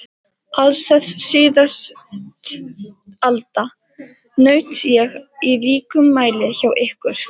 Alls þess síðasttalda naut ég í ríkum mæli hjá ykkur.